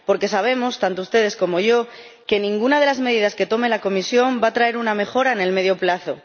Porque sabemos, tanto ustedes como yo, que ninguna de las medidas que tome la Comisión va a traer una mejora a medio plazo.